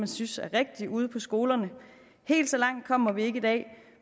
synes er rigtig ude på skolerne helt så langt kommer vi ikke i dag